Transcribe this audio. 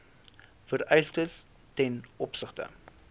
vereistes ten opsigte